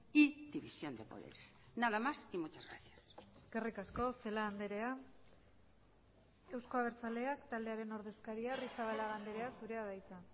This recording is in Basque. y división de poderes nada más y muchas gracias eskerrik asko celaá andrea euzko abertzaleak taldearen ordezkaria arrizabalaga andrea zurea da hitza